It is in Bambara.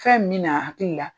Fɛn min bɛ na a hakilli la